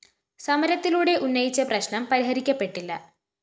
സമരത്തിലൂടെ ഉന്നയിച്ച പ്രശ്‌നം പരിഹരിക്കപ്പെട്ടില്ല